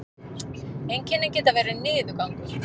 einkennin geta verið niðurgangur